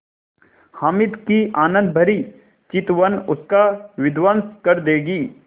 हामिद की आनंदभरी चितवन उसका विध्वंस कर देगी